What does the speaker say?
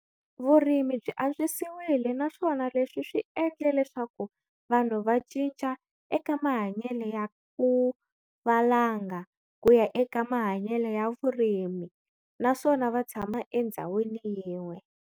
Vurimi byi antswisiwile naswona leswi swi endle leswaku vanhu va cinca eka mahanyele ya ku valanga ku ya eka mahanyele ya vurimi naswona va tshama endhzawini yin'we.